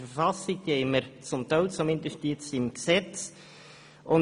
Diese sind in der Bundesverfassung und jetzt zumindest zum Teil im Gesetz vorhanden.